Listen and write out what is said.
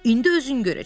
İndi özün görəcəksən.